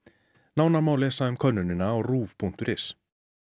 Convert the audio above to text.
nánar má lesa um könnunina á ruv punktur is